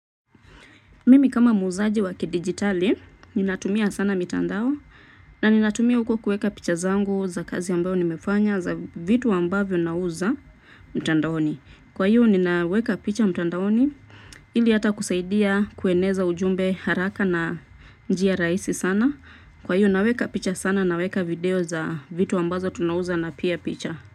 Mimi kama muuzaji wa kidigitali, ninatumia sana mitandao na ninatumia huko kueka picha zangu za kazi ambayo nimefanya za vitu ambavyo nauza mtandaoni. Kwa hiyo, ninaweka picha mtandaoni ili hata kusaidia kueneza ujumbe haraka na njia rahisi sana. Kwa hiyo, naweka picha sana naweka video za vitu ambazo tunauza na pia picha.